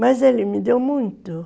Mas ele me deu muito.